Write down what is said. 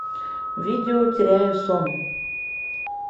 видео теряю сон